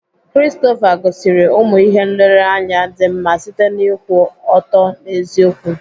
Christopher gosiri ụmụ ihe nlereanya dị mma site n'ịkwụ ọtọ n'eziokwu.